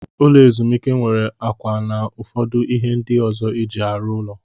Ụlọ ezumike nwere akwa na ụfọdụ ihe ndị ọzọ eji arụ ụlọ.